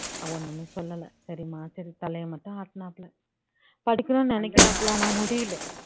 அவன் ஒண்ணுமே சொல்லல சரிம்மா சரி தலைய மட்டும் ஆட்டுனாப்ல படிக்கணும்னு நினைக்குறாப்ல ஆனா முடியல